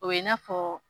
O ye i n'a fɔ